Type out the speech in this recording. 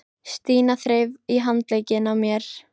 Stína þreif í handlegginn á mér.